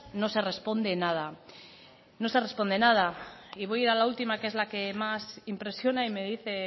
no se responde nada voy a ir a la última que es la que más impresiona y me dice